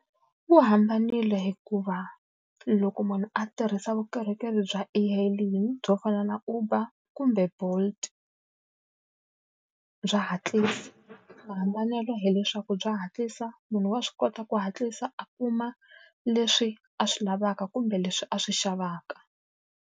Wu hambanile hikuva loko munhu a tirhisa vukorhokeri bya e-hailing byo fana na Uber kumbe Bolt, bya hatlisa. Mahambanelo hileswaku bya hatlisa, munhu wa swi kota ku hatlisa a kuma leswi a swi lavaka kumbe leswi a swi xavaka.